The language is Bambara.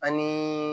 Ani